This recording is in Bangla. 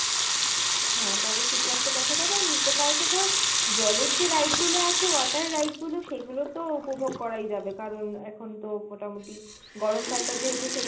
হ্যাঁ পরে শীত আসলে দেখা যাবে আর Nicco Park এ ধর জলের যে ride গুলো আছে water ride গুলো সেগুলো তো উপভোগ করাই যাবে কারন এখন তো মোটামুটি গরম কাল টা যেহেতু সেই